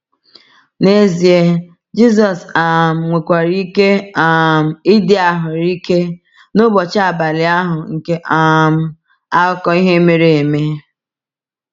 N’ezie, Jisọs um nwekwara ike um ịdị ahụ́rụ ike n’ụbọchị abalị ahụ nke um akụkọ ihe mere eme.